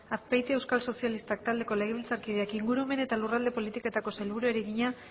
azpeitia euskal sozialistak taldeko legebiltzarkideak ingurumen eta lurralde politikako sailburuari egina